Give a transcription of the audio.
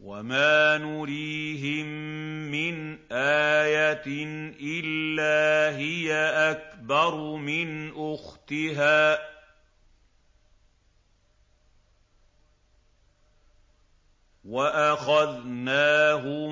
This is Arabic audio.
وَمَا نُرِيهِم مِّنْ آيَةٍ إِلَّا هِيَ أَكْبَرُ مِنْ أُخْتِهَا ۖ وَأَخَذْنَاهُم